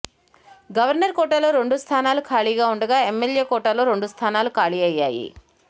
governor కోటాలో రెండు స్థానాలు ఖాళీగా ఉండగా ఎమ్మెల్యే కోటాలో రెండు స్థానాలు ఖాళీ అయ్యాయి